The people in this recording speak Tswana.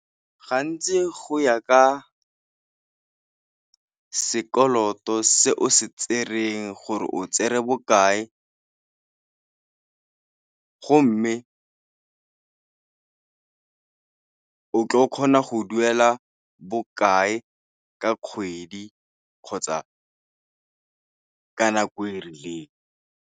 Gantsi go ya ka sekoloto se o se tsereng gore o tsere bokae go mme o tl'o kgona go duela bokae ka kgwedi kgotsa ka nako e rileng.